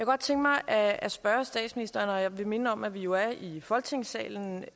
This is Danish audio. godt tænke mig at spørge statsministeren og jeg vil minde om at vi jo er i folketingssalen